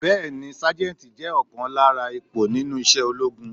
Bẹẹni Sájẹ́ntì jẹ́ ọ̀kan lára ipò nínú isẹ́ ológun.